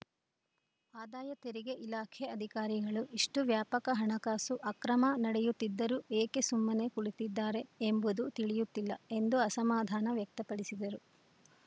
ಆದಾಯ ತೆರಿಗೆ ಇಲಾಖೆ ಅಧಿಕಾರಿಗಳು ಇಷ್ಟುವ್ಯಾಪಕ ಹಣಕಾಸು ಅಕ್ರಮ ನಡೆಯುತ್ತಿದ್ದರೂ ಏಕೆ ಸುಮ್ಮನೆ ಕುಳಿತಿದ್ದಾರೆ ಎಂಬುದು ತಿಳಿಯುತ್ತಿಲ್ಲ ಎಂದು ಅಸಮಾಧಾನ ವ್ಯಕ್ತಪಡಿಸಿದರು